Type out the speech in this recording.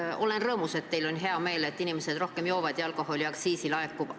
Ma olen rõõmus, et teil on hea meel, kui inimesed rohkem joovad ja alkoholiaktsiisi laekub.